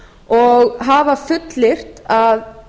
og hefur fullyrt að